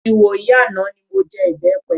Ìwòyí àná mi mọ jẹ ìbẹpẹ.